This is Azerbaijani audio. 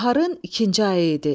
Baharın ikinci ayı idi.